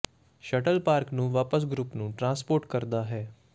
shuttle park ਨੂੰ ਵਾਪਸ group ਨੂੰ ਟਰਾਂਸਪੋਰਟ ਕਰਦਾ ਹੈ